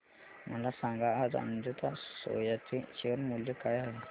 मला सांगा आज अजंता सोया चे शेअर मूल्य काय आहे